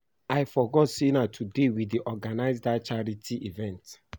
I forget say na today we dey organize dat charity event